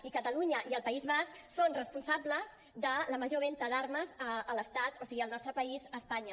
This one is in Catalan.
i catalunya i el país basc són responsables de la major venda d’armes a l’estat o sigui al nostre país espanya